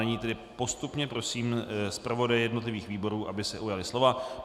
Nyní tedy postupně prosím zpravodaje jednotlivých výborů, aby se ujali slova.